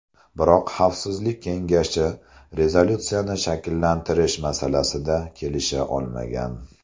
Biroq Xavfsizlik kengashi rezolyutsiyani shakllantirish masalasida kelisha olmagan.